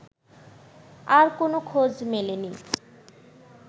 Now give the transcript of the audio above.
আর কোন খোঁজ মেলেনি